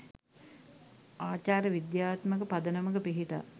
ආචාර විද්‍යාත්මක පදනමක පිහිටා